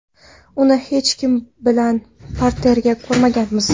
Uni hech kim bilan parterda ko‘rmaganmiz.